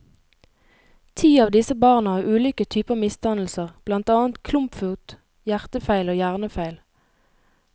Ti av disse barna har ulike typer misdannelser, blant annet klumpfot, hjertefeil og hjernefeil.